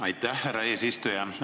Aitäh, härra eesistuja!